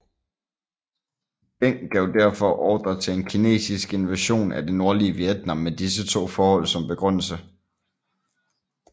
Deng gav derfor ordre til en kinesisk invasion af det nordlige Vietnam med disse to forhold som begrundelse